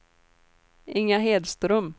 Inga Hedström